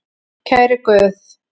Kæri Guð.